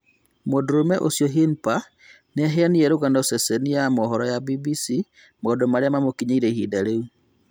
Mũndũrũme ũcio hirmpa niaheanire rũgano ceceni ya mohoro ya BBC maũndũ Maria mamũkinyĩire ihinda rĩu.